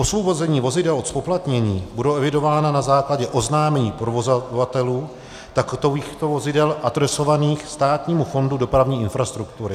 Osvobození vozidel od zpoplatnění budou evidována na základě oznámení provozovatelů takovýchto vozidel adresovaných Státnímu fondu dopravní infrastruktury.